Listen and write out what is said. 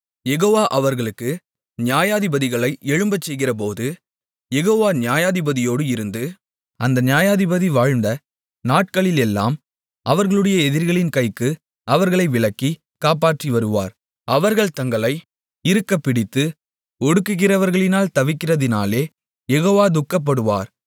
யெகோவா அவர்களுக்கு நியாயாதிபதிகளை எழும்பச்செய்கிறபோது யெகோவா நியாயாதிபதியோடு இருந்து அந்த நியாயாதிபதி வாழ்ந்த நாட்களிலெல்லாம் அவர்களுடைய எதிரிகளின் கைக்கு அவர்களை விலக்கி காப்பாற்றிவருவார் அவர்கள் தங்களை இறுகப்பிடித்து ஒடுக்குகிறவர்களினால் தவிக்கிறதினாலே யெகோவா துக்கப்படுவார்